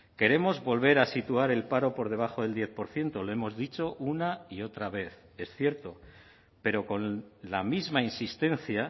queremos volver a situar el paro por debajo del diez por ciento lo hemos dicho una y otra vez es cierto pero con la misma insistencia